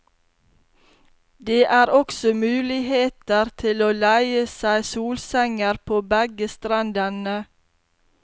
Det er også muligheter til å leie seg solsenger på begge strendene.